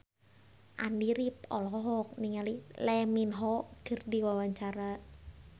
Andy rif olohok ningali Lee Min Ho keur diwawancara